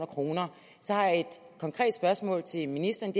kr så har jeg et konkret spørgsmål til ministeren